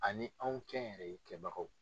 Ani anw kɛ n yɛrɛ ye kɛbagaw.